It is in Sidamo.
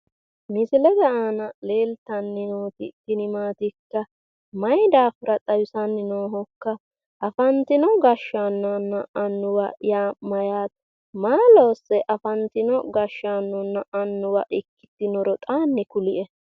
Misilete aana leeltanni nooti tini maatikka? Mayi daafira xawisanni noohokka? Afantino gashshaanonna annuwa yaa mayyaate? Maa loosse afantino gashshaanonna annuwa ikkitinoro xaanni kulie.